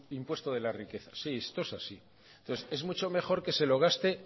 impuesto de la riqueza sí esto es así entonces es mucho mejor que se lo gaste